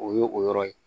O ye o yɔrɔ ye